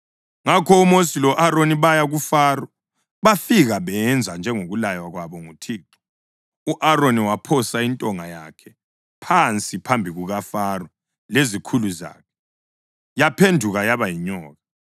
Ngakho uMosi lo-Aroni baya kuFaro. Bafika benza njengokulaywa kwabo nguThixo. U-Aroni waphosa intonga yakhe phansi phambi kukaFaro lezikhulu zakhe, yaphenduka yaba yinyoka.